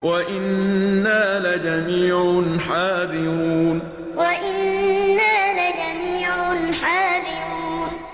وَإِنَّا لَجَمِيعٌ حَاذِرُونَ وَإِنَّا لَجَمِيعٌ حَاذِرُونَ